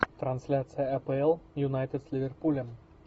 трансляция апл юнайтед с ливерпулем